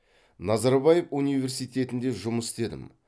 назарбаев университетінде жұмыс істедім